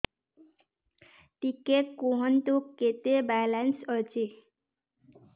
ଟିକେ କୁହନ୍ତୁ କେତେ ବାଲାନ୍ସ ଅଛି